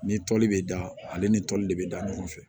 Ni toli bɛ da ale ni toli de bɛ da ɲɔgɔn fɛ